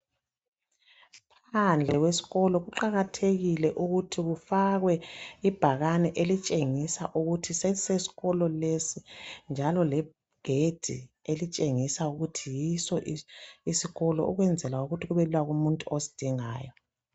Phandle kwesikolo kuqakathekile ukuthi kufakwe ibhakane elitshengisa ukuthi sesisesikolo lesi njalo legedi elitshengisa ukuthi yiso isikolo ukwenzela ukuthi kubelula kumuntu osidingayo.